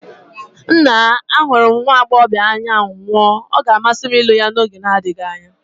Nna, ahụrụ m nwa agbọghọ ahụ n'anya nwụọ, ọ ga-amasị m ịlụ ya n'oge na-adịghị anya.